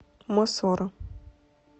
мосоро